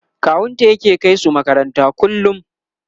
kawunta yake kaisu makaranta kullum